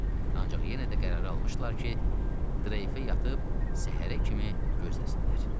Ancaq yenə də qərar almışdılar ki, dreypə yatıb səhərə kimi gözləsinlər.